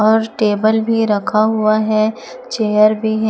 और टेबल भी रखा हुआ है चेयर भी है।